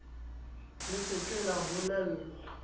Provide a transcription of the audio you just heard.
le se ke la bolellwa